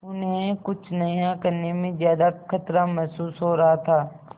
उन्हें कुछ नया करने में ज्यादा खतरा महसूस हो रहा था